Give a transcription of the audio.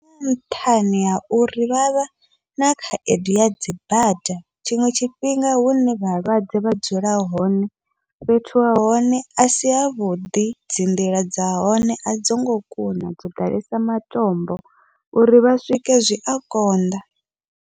Nṱhani ha uri vha vha na khaedu yadzi bada, tshiṅwe tshifhinga hune vhalwadze vha dzula hone fhethu ha hone asi havhuḓi, dzi nḓila dza hone a dzongo kuna dzo ḓalesa matombo uri vha swike zwi a konḓa.